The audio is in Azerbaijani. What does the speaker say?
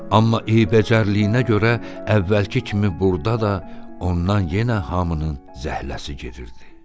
Amma eybəcərliyinə görə əvvəlki kimi burda da ondan yenə hamının zəhləsi gedirdi.